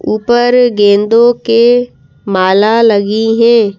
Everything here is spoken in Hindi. ऊपर गेंदों के माला लगी हैं।